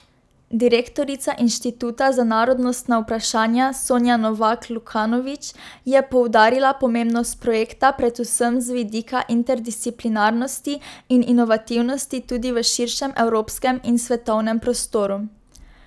Direktorica Inštituta za narodnostna vprašanja Sonja Novak Lukanovič je poudarila pomembnost projekta predvsem z vidika interdisciplinarnosti in inovativnosti tudi v širšem evropskem in svetovnem prostoru.